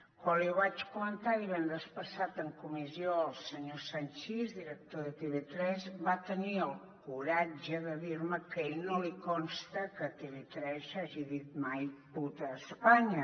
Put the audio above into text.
quan ho vaig comentar divendres passat en comissió al senyor sanchis director de tv3 va tenir el coratge de dir me que a ell no li consta que tv3 hagi dit mai puta espanya